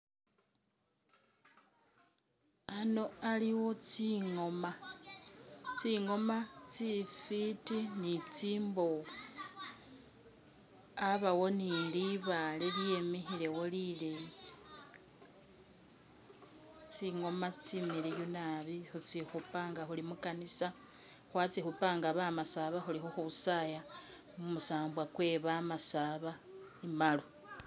Ano aliwo tsingoma ,tsingoma tsifiti ni tsimboofu, abawo ni libaale lyemikhilewo lileyi, tsingooma tsimiliyu nabi khutsikhupa nga khuli mu kanisa ,khwatsikhupa nga bamasaba khuli khukhusaaya mumusambwa kwe bamasaba imbalu